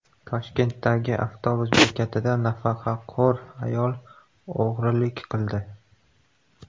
Toshkentdagi avtobus bekatida nafaqaxo‘r ayol o‘g‘rilik qildi.